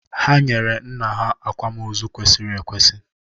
Ha nyere nna ha àkwámoozu kwesịrị ekwesị